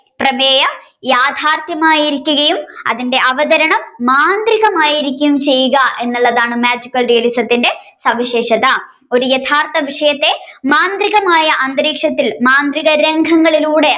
പ്രേമേയം യാഥാർഥ്യമായിരിക്കുകയും അതിന്റെ അവതരണം മാന്ത്രികമായിരിക്കുകയും ചെയുക എന്നുള്ളതാണ് Magical Realism ന്റെ സവിശേഷത ഒരു യഥാർത്ഥ വിഷയത്തെ മാന്ത്രിയകമായ അന്തരീക്ഷത്തിൽ മാന്ത്രികരംഗങ്ങളിലൂടെ